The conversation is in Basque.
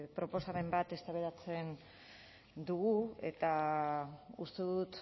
proposamen bat eztabaidatzen dugu eta uste dut